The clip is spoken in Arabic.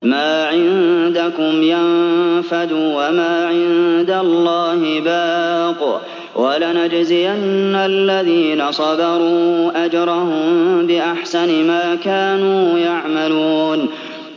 مَا عِندَكُمْ يَنفَدُ ۖ وَمَا عِندَ اللَّهِ بَاقٍ ۗ وَلَنَجْزِيَنَّ الَّذِينَ صَبَرُوا أَجْرَهُم بِأَحْسَنِ مَا كَانُوا يَعْمَلُونَ